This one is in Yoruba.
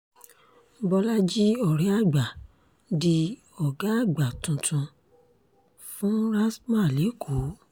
bọ́lajì ọ̀rẹ́àgbà di ọ̀gá àgbà tuntun fún rstma lẹ́kọ̀ọ́